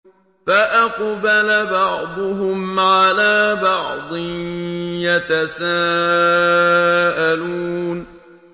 فَأَقْبَلَ بَعْضُهُمْ عَلَىٰ بَعْضٍ يَتَسَاءَلُونَ